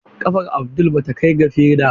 Kafar Abdul bata kai ga feda ba.